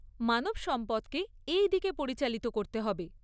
মানবসম্পদকে এই দিকে পরিচালিত করতে হবে।